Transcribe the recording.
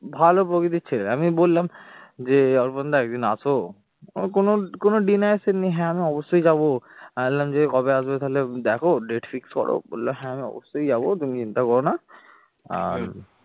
ভালো প্রকৃতির ছেলে আমি বললাম যে অর্পণ দা একদিন আসো ওর কোন denied এর seen নেই হ্যাঁ আমি অবশ্যই যাব, আমি বললাম যে কবে আসবে তাহলে দেখো date fix করো বললো হ্যাঁ আমি অবশ্যই যাবো তুমি চিন্তা করো না আর